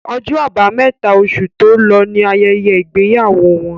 Ọjọ́ abámẹ́ta, osù tó lọ ní ayẹyẹ ìgbéyàwó wọn